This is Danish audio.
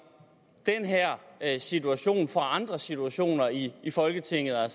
den her situation fra andre situationer i i folketinget er